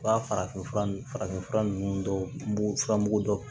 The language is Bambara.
U ka farafinfura nunnu farafin fura ninnu dɔw fura mugu dɔw